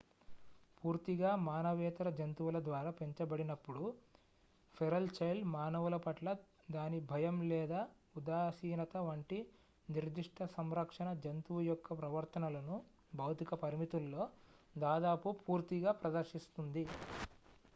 పూర్తిగా మానవేతర జంతువుల ద్వారా పెంచబడినప్పుడు ఫెరల్ చైల్డ్ మానవులపట్ల దాని భయం లేదా ఉదాసీనత వంటి నిర్దిష్ట సంరక్షణ-జంతువు యొక్క ప్రవర్తనలను భౌతిక పరిమితుల్లో దాదాపు పూర్తిగా ప్రదర్శిస్తుంది